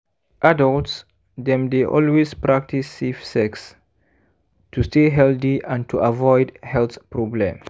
adults dem dey always practice safe sex to stay healthy and to avoid heath problem